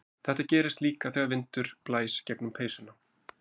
Þetta gerist líka þegar vindur blæs gegnum peysuna.